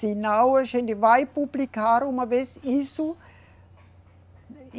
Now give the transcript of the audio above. Se não, a gente vai publicar uma vez isso.